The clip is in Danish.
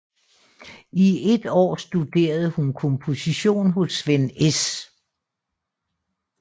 I et år studerede hun komposition hos Svend S